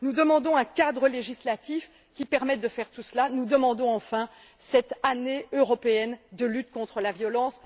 Nous demandons un cadre législatif qui permette de faire tout cela, nous demandons enfin cette année européenne de lutte contre la violence.